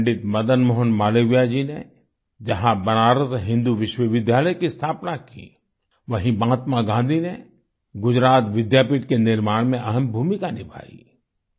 पंडित मदन मोहन मालवीय जी ने जहां बनारस हिंदू विश्वविद्यालय की स्थापना की वहीं महात्मा गांधी ने गुजरात विद्यापीठ के निर्माण में अहम भूमिका निभाई